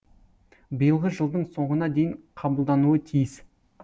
биылғы жылдың соңына дейін қабылдануы тиіс